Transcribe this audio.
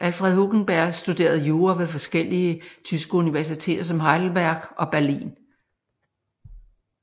Alfred Hugenberg studerede jura ved forskellige tyske universiteter som Heidelberg og Berlin